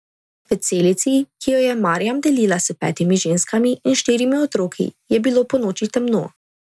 V celici, ki jo je Marjam delila s petimi ženskami in štirimi otroki, je bilo ponoči temno.